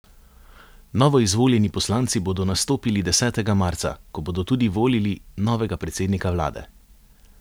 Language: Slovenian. Novoizvoljeni poslanci bodo nastopili desetega marca, ko bodo tudi volili novega predsednika vlade.